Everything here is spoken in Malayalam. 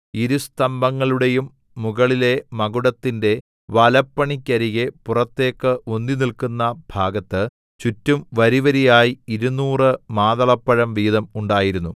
ഇരു സ്തംഭങ്ങളുടെയും മുകളിലെ മകുടത്തിന്റെ വലപ്പണിക്കരികെ പുറത്തേക്ക് ഉന്തി നിൽക്കുന്ന ഭാഗത്ത് ചുറ്റും വരിവരിയായി ഇരുനൂറ് മാതളപ്പഴം വീതം ഉണ്ടായിരുന്നു